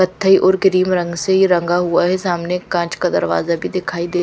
पत्थर और क्रीम रंग से रंगा हुआ है सामने कांच का दरवाजा भी दिखाई दे--